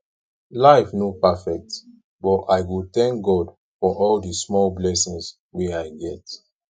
life no perfect but i go tank god for all di small blessings wey i get